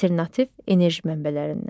alternativ enerji mənbələrindən.